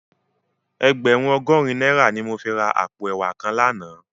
Ègbèrún ògòrín nàirá ni mó fi rá àpó èwá kán làná